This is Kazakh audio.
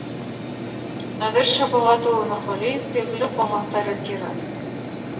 нәдір шапағатұлы нұрғалиев белгілі қоғам қайраткері